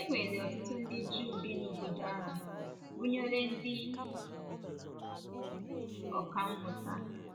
E nwere ọtụtụ ndị Juu bi n’obodo ahụ, gụnyere ndị ọkà mmụta.